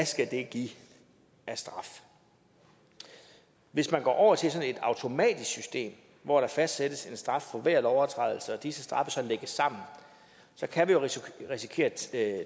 skal give af straf hvis man går over til sådan et automatisk system hvor der fastsættes en straf for hver lovovertrædelse og disse straffe så lægges sammen så kan vi jo risikere